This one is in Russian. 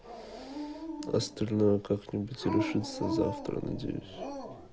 остальное как-нибудь решится завтра надеюсь